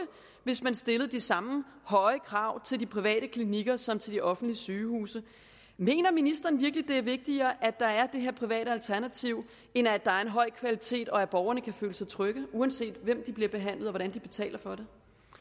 hvis man stillede de samme høje krav til de private klinikker som til de offentlige sygehuse mener ministeren virkelig at det er vigtigere at der er det her private alternativ end at der er en høj kvalitet og at borgerne kan føle sig trygge uanset hvem de bliver behandlet af og hvordan de betaler for